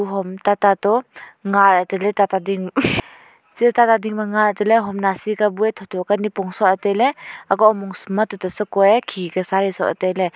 home tata to nga lah railey hm che tata ding ma nga la tailey hom nasi ka bu ae tho tho ka nyipong soh la akoh homong sum ma tuta sako ae khi ka sari soh key tailey.